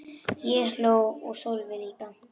Ég hló og Sölvi líka.